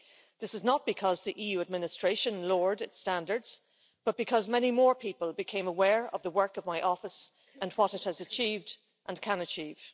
This is not because the EU administration lowered its standards, but because many more people became aware of the work of my office and what it has achieved and can achieve.